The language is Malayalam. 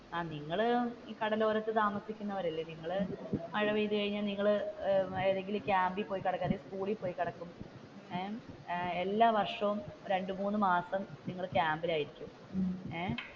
നിങ്ങൾ കടലോരത്ത് താമസിക്കുന്നവർ അല്ലെ നിങ്ങൾ മഴപെയ്തുകഴിഞ്ഞ നിങ്ങൾ ഏതേലും ക്യാമ്പിൽ പോയി കിടക്കുക അല്ലെങ്കിൽ സ്കൂളിൽ പോയി കിടക്കും എല്ലാ വർഷവും രണ്ടു മൂന്ന് മാസം നിങ്ങൾ ക്യാമ്പിൽ ആയിരിക്കും. ഏർ